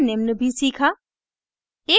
हमने निम्न भी सीखा